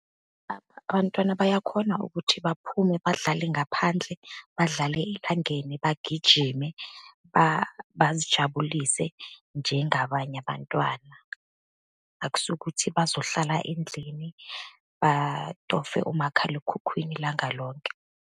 Abantwana bayakhona ukuthi baphume badlale ngaphandle, badlale , bagijime, bazijabulise, njengabanye abantwana. Akusiwukuthi bazohlala endlini batofe umakhalekhukhwini ilanga lonke.